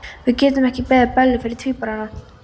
Við getum ekki beðið Bellu fyrir tvíburana.